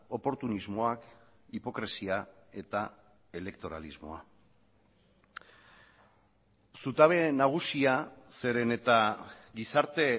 oportunismoak hipokresia eta elektoralismoa zutabe nagusia zeren eta gizarte